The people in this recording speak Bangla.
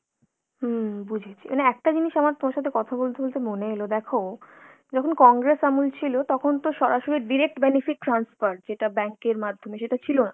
হুম বুঝেছি, মানে একটা জিনিস আমার তোমার সাথে কথা বলতে বলতে মনে এলো, দেখো যখন কংগ্রেস আমল ছিল তখন তো সরাসরি direct benefit transfer, যেটা bank এর মাধ্যমে সেটা ছিল না।